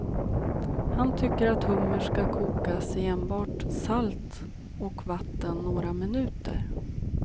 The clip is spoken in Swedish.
Han tycker att hummer ska kokas i enbart salt och vatten några minuter.